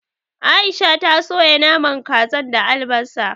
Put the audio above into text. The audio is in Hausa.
Aisha ta soya naman kazan da albasa